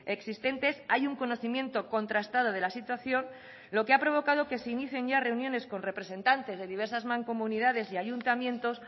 existentes hay un conocimiento contrastado de la situación lo que ha provocado que se inicien ya reuniones con representantes de diversas mancomunidades y ayuntamientos